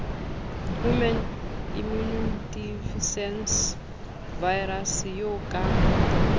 human immunodeficiency virus eo ka